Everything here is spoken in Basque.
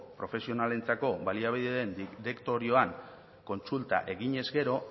profesionalentzako baliabideen direktorioan kontsulta egin ezkero